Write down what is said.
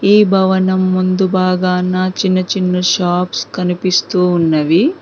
ఈ భవనం ముందు భాగాన చిన్న చిన్న షాప్స్ కనిపిస్తూ ఉన్నవి.